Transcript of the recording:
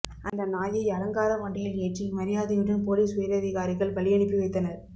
அந்த நாயை அலங்கார வண்டியில் ஏற்றி மரியாதையுடன் போலீஸ் உயரதிகாரிகள் வழியனுப்பி வைத்தனர்